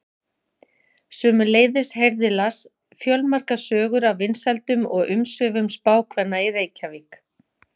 Sömuleiðis heyrði Lars fjölmargar sögur af vinsældum og umsvifum spákvenna í Reykjavík.